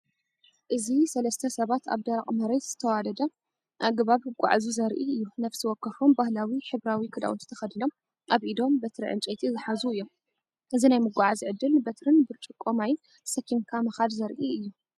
እዚ ሰለስተ ሰባት ኣብ ደረቕ መሬት ብዝተዋደደ ኣገባብ ክጓዓዙ ዘርኢ እዩ። ነፍሲ ወከፎም ባህላዊ ሕብራዊ ክዳውንቲ ተኸዲኖም ኣብ ኢዶም በትሪ ዕንጨይቲ ዝሓዙ እዮም። እዚ ናይ ምጉዓዝ ዕድል፡ በትሪን ብርጭቆ ማይን ተሰኪምካ ምካድ ዘርኢ እዩ።